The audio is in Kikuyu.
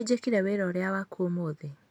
Nĩnjĩkire wĩra ũrĩa waku ũmũthĩ